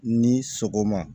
Ni sɔgɔma